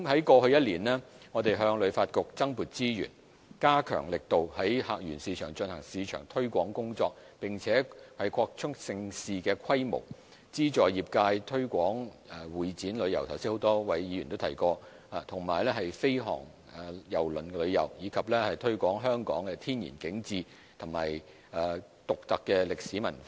過去一年，我們向旅發局增撥資源，加強力度在客源市場進行市場推廣工作，並且擴充盛事規模、資助業界推廣會展旅遊——剛才已有多位議員提及——和飛航郵輪旅遊，以及推廣香港的天然景致和獨特歷史文化。